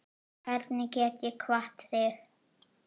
Hvernig get ég kvatt þig?